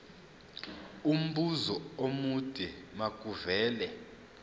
umbuzo omude makuvele